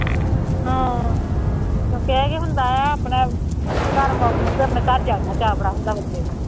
ਹਾਂ ਕਿਉਂਕਿ ਇਹ ਹੁੰਦਾ ਹੈ ਆਪਣਾ ਘਰ ਵਾਂਗੂੰ ਬਈ ਆਪਣੇ ਘਰ ਜਾਊਂਗਾ, ਚਾਅ ਬੜਾ ਹੁੰਦਾ ਬੰਦੇ ਨੂੰ